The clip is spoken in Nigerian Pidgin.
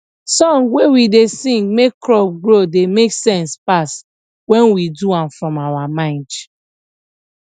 song wey we da sing make crop grow da make sense pass wen we do am from our mind